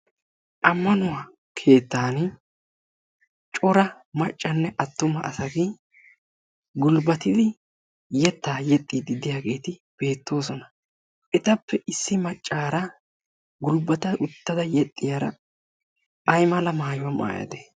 ammanuwaa keettan cora maccanne attuma asagi gulbbatidi yettaa yexxiididdiyaageeti beettoosona etappe issi maccaara gulbbata uttada yexxiyaara aymala maayuwaa maayate